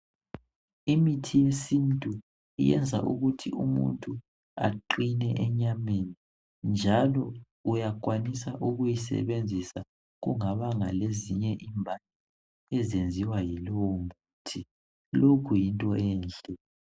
Imithi yesintu iyenza ukuthi umuntu aqine enyaweni njalo uyakwanisa ukuwu sebenzisa ungazange waba lezinye izinto ezimbi ezenziwa ngulowo muthi lokhu yinto enhle